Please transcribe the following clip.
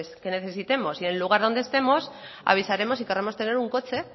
que necesitemos y en el lugar donde estemos avisaremos y querremos tener un coche